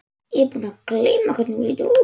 Ég er búin að gleyma hvernig þú lítur út.